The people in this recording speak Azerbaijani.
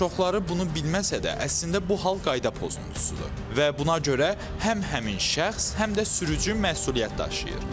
Çoxları bunu bilməsə də, əslində bu hal qayda pozuntusudur və buna görə həm həmin şəxs, həm də sürücü məsuliyyət daşıyır.